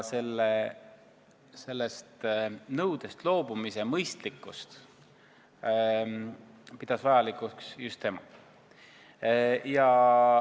Sellest nõudest loobumist pidas vajalikuks just tema.